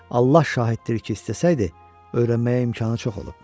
Allah şahiddir ki, istəsəydi öyrənməyə imkanı çox olub.